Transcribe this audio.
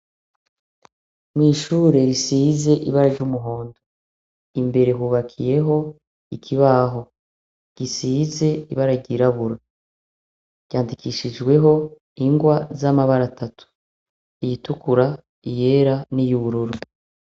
Mw'ishure risize ibara ry'umuhondo imbere hubakiyeho ikibaho, gisize ibara ryirabura. Ryandikishijweho ingwa z'amabara atatu: iyitukura, iyera niy'ubururu.